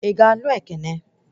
I ga-anụ Ekene?